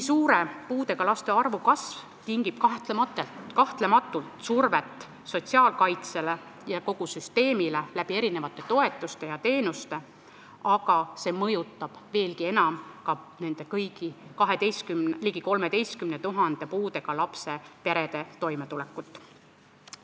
Puudega laste arvu nii suur kasv tingib kahtlematult surve sotsiaalkaitsele ja kogu süsteemile, sest on vaja toetusi ja teenuseid, aga see mõjutab veelgi enam ka kõigi nende perede, ligi 13 000 pere, kus kasvab puudega laps, toimetulekut.